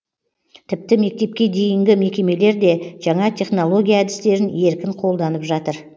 тіпті мектепке дейінгі мекемелер де жаңа технология әдістерін еркін қолданып жатыр